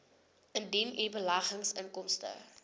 indien u beleggingsinkomste